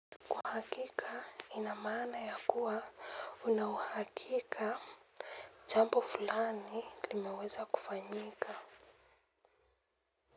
Uhakika ina maana ya kuwa una uhakika jambo fulani limeweza kufanyika.